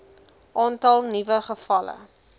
aantal nuwe gevalle